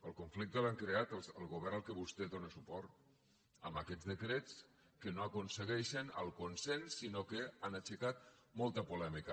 el conflicte l’ha creat el govern al qual vostè dóna suport amb aquests decrets que no aconsegueixen el consens sinó que han aixecat molta polèmica